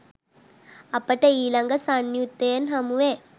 අපට ඊළඟ සංයුත්තයෙන් හමුවේ